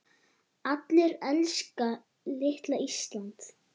Allir elska litla Ísland.